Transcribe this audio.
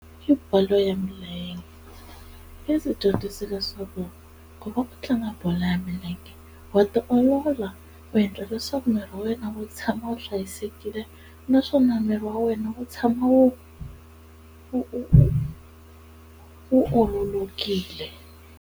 I bolo ya milenge yi ndzi dyondzise leswaku loko va ku tlanga bolo ya milenge wa tiolola u endla leswaku miri wa wena wu tshama wu hlayisekile naswona miri wa wena wu tshama wu wu wu ololokile.